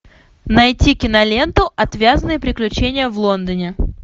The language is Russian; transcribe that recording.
найти киноленту отвязные приключения в лондоне